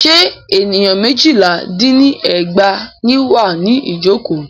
Ṣé ènìyàn méjìlá dín ní ẹgbàá ní wà ní ìjọ̀kọ́?